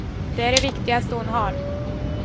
Det är det viktigaste hon har.